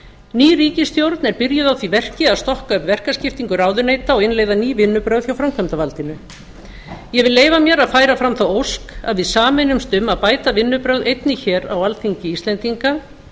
ný ríkisstjórn er byrjuð á því verki að stokka upp verkaskiptingu ráðuneyta og innleiða ný vinnubrögð hjá framkvæmdarvaldinu ég vil leyfa mér að færa fram þá ósk að við sameinumst um að bæta vinnubrögð einnig hér á alþingi íslendinga